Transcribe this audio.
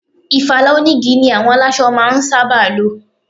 Ìfala onigi ni àwọn aláṣọ máa ń sábà lo.